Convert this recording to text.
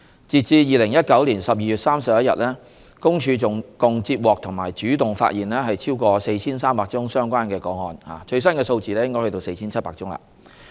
截至2019年12月31日，公署共接獲及主動發現超過 4,300 宗相關個案，最新數字是 4,700 宗。